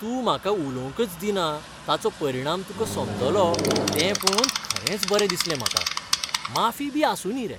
तूं म्हाका उलोवंकच दिना ताचो परिणाम तुका समजलो तें पळोवन खरेंच बरें दिसलें म्हाका. माफीबी आसूं दी रे.